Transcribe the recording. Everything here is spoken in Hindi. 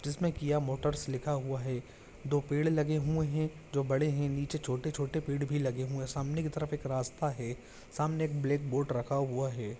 जिसमें किया मोटर्स लिखा हुआ है दो पेड़ लगे हुए हैं जो बड़े हैं नीचे छोटे-छोटे पेड़ भी लगे हुए हैं सामने की तरफ एक रास्ता है सामने एक ब्लैक बोर्ड रखा हुआ है।